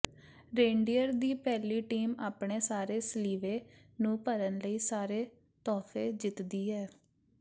reindeer ਦੀ ਪਹਿਲੀ team ਆਪਣੇ ਸਾਰੇ ਸਲੀਵੇ ਨੂੰ ਭਰਨ ਲਈ ਸਾਰੇ ਤੋਹਫੇ ਜਿੱਤਦੀ ਹੈ